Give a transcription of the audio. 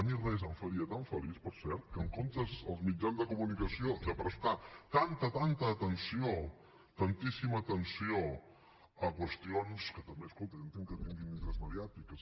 a mi res em faria tan feliç per cert que en comptes els mitjans de comunicació de prestar tanta tanta atenció tantíssima atenció a qüestions que també escolta jo entenc que tinguin interès mediàtic és